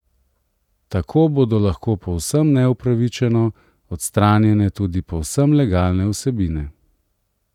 Tako bodo lahko povsem neupravičeno odstranjene tudi povsem legalne vsebine.